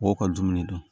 Mɔgɔw ka dumuni dɔn